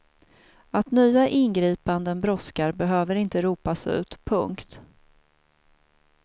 Att nya ingripanden brådskar behöver inte ropas ut. punkt